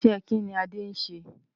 Iṣẹ́ kí ni Adé ń ṣe?